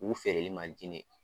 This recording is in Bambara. u feereli ma di ne ye.